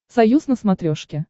союз на смотрешке